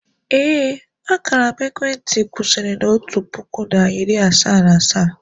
ee, akara ekwentị m kwụsịrị na otu puku na iri asaa na asaa